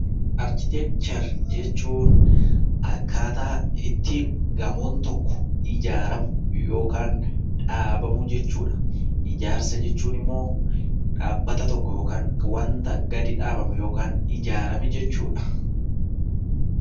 Arkiteekchar jechuun akkaataa ittiin gamoon tokko ijaaramu yookaan dhaabamu jechuudha. Ijaarsa jechuun immoo dhaabbata tokko yookaan waanta gadi dhaabame yookaan ijaarame jechuudha.